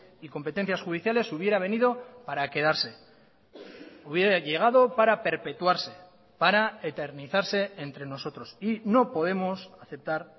y competencias judiciales hubiera venido para quedarse hubiera llegado para perpetuarse para eternizarse entre nosotros y no podemos aceptar